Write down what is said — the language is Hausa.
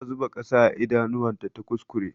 Ta zuba ƙasa a idanuwan ta ta kuskure.